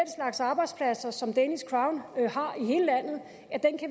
slags arbejdspladser som danish har